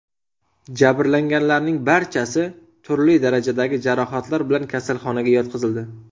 Jabrlanganlarning barchasi turli darajadagi jarohatlar bilan kasalxonaga yotqizildi.